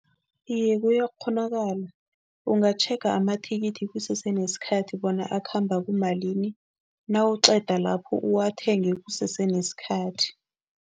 Iye, kuyakghonakala. Ungatjhega amathikithi kusese nesikhathi bona akhamba kumalini, nawuqeda lapho uwathenge kusese nesikhathi.